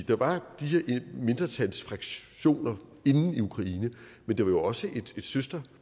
der var de her mindretalsfraktioner inde i ukraine men det var jo også et søster